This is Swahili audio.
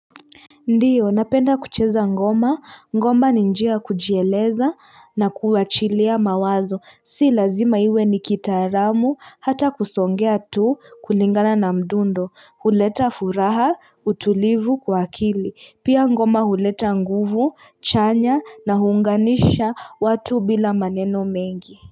Ndiyo napenda kucheza ngoma ngoma ninjia ya kujieleza na kuachilia mawazo si lazima iwe nikitaramu hata kusongea tu kulingana na mdundo huleta furaha utulivu kwa kili pia ngoma huleta nguvu chanya na hunganisha watu bila maneno mengi.